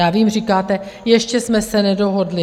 Já vím, říkáte, ještě jsme se nedohodli.